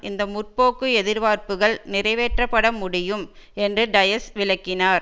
இந்த முற்போக்கு எதிர்பார்ப்புக்கள் நிறைவேற்ற பட முடியும் என்று டயஸ் விளக்கினார்